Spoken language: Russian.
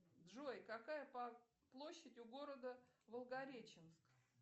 джой какая площадь у города волгореченск